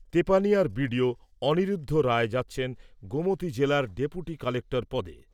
তেপানিয়ার BDO Aniruddha Roy যাচ্ছেন গোমতি